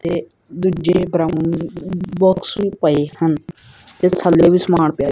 ਤੇ ਦੂਜੇ brown box ਵੀ ਪਏ ਹਨ ਥੱਲੇ ਵੀ ਸਮਾਨ ਪਿਆ--